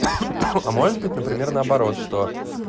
а может быть например наоборот что